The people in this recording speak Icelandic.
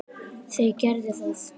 Þau gerðu það.